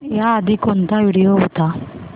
याआधी कोणता व्हिडिओ होता